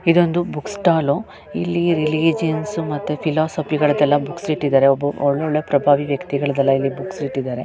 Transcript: ಇದೊಂದು book stall ಇಲ್ಲಿ religions ಮತ್ತೆ ಫಿಲಾಸಫಿಗಳದೆಲ್ಲಾ ಬುಕ್ಸ್ ಇಟ್ಟಿದ್ದಾರೆ ಒಳ್ಳೊಳ್ಳೆ ಪ್ರಭಾವಿ ವ್ಯಕ್ತಿಗಳ್ ದೆಲ್ಲ ಬುಕ್ಸಿಟ್ಟಿದ್ದಾರೆ. .